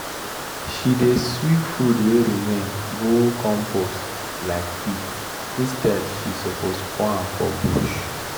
she dey sweep food wey remain go compost um pit instead she suppose pour am for bush.